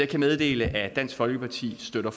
kan meddele at dansk folkeparti støtter